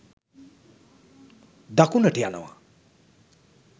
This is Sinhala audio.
දකුණට යනවා